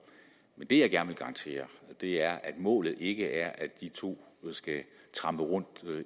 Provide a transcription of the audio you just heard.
det jeg gerne vil garantere er at målet ikke er at de to skal trampe rundt